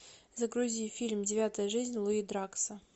загрузи фильм девятая жизнь луи дракса